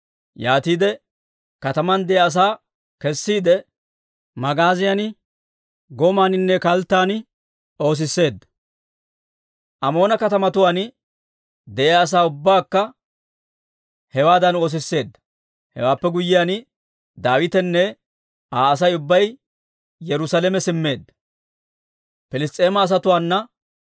Yaatiide kataman de'iyaa asaa kessiide, magaaziyan, gomaaninne kalttan oosisseedda. Amoona katamatuwaan de'iyaa asaa ubbaakka hewaadan oosisseedda. Hewaappe guyyiyaan, Daawitenne Aa Asay ubbay Yerusaalame simmeedda.